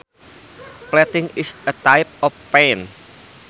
Flatting is a type of paint